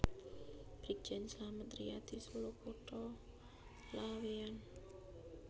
Brigjen Slamet Riyadi Solo Kota Laweyan